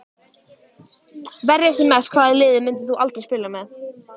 Verja sem mest Hvaða liði myndir þú aldrei spila með?